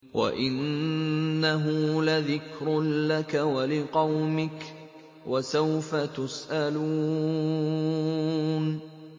وَإِنَّهُ لَذِكْرٌ لَّكَ وَلِقَوْمِكَ ۖ وَسَوْفَ تُسْأَلُونَ